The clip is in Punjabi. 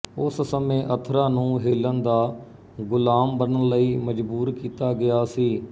ਉਸ ਸਮੇਂ ਅਥਰਾ ਨੂੰ ਹੇਲਨ ਦਾ ਗੁਲਾਮ ਬਣਨ ਲਈ ਮਜ਼ਬੂਰ ਕੀਤਾ ਗਿਆ ਸੀ